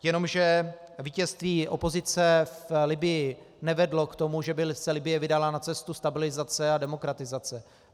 Jenomže vítězství opozice v Libyi nevedlo k tomu, že by se Libye vydala na cestu stabilizace a demokratizace.